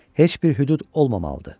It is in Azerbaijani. Heç bir hüdud olmamalıdır.